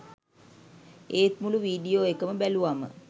ඒත් මුළු වීඩියෝ එකම බැලුවම